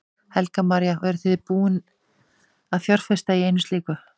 Helga María: Og eruð þið búin að fjárfesta í einu slíku?